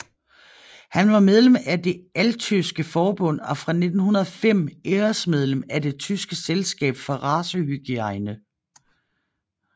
Han var medlem af Det altyske forbund og fra 1905 æresmedlem af Det tyske selskab for racehygiene